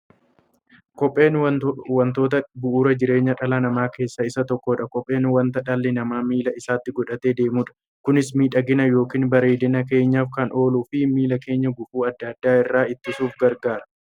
Kopheen wantoota bu'uura jireenya dhala namaa keessaa isa tokkodha. Kopheen wanta dhalli namaa miilla isaatti godhatee deemudha. Kunis miidhagani yookiin bareedina keenyaf kan ooluufi miilla keenya gufuu adda addaa irraa ittisuuf gargaara.